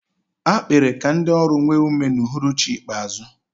A kpere ka ndị ọrụ nwee ume n'uhuruchi ikpeazụ.